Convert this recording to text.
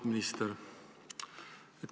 Auväärt minister!